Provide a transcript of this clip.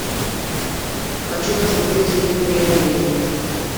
хочу посмотреть фильм преодоление